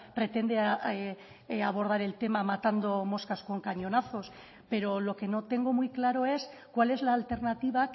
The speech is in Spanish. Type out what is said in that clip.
pretende abordar el tema matando moscas con cañonazos pero lo que no tengo muy claro es cuál es la alternativa